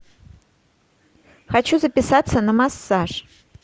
хочу записаться на массаж